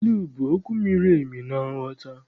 Ilu bụ okwu miri emi na nghọta.